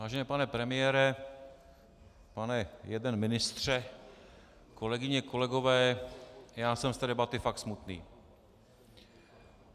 Vážený pane premiére, pane jeden ministře, kolegyně, kolegové, já jsem z té debaty fakt smutný.